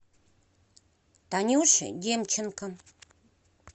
танюше демченко